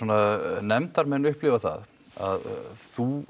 nefndarmenn upplifa það að þú